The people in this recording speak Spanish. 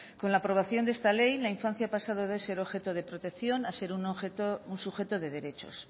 con la aprobación de esta ley la infancia ha pasado de ser objeto de protección a ser un sujeto de derechos